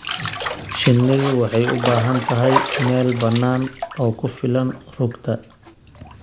Shinnidu waxay u baahan tahay meel bannaan oo ku filan rugta.